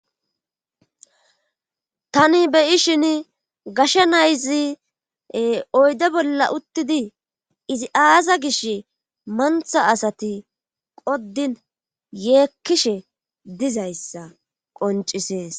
Tani beyi shin gashsha nayzi oyde bolla uttidi izi aaza gish mantha asati qoddin yeekkishe dizayssa qoncisees.